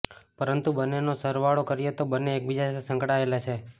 પરંતુ બંનેનો સરવાળો કરીએ તો તે બંને એકબીજા સાથે સંકળાયેલા છે